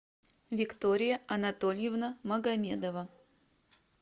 виктория анатольевна магомедова